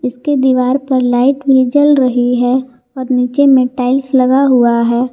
इसके दीवार पर लाइट में जल रही है और नीचे में टाइल्स लगा हुआ है।